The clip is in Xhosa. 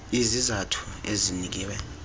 iz izathu ezinikwe